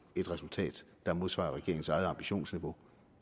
et resultat der modsvarer regeringens eget ambitionsniveau